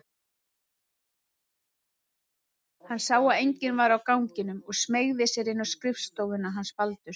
Hann sá að enginn var á ganginum og smeygði sér inn á skrifstofuna hans Baldurs.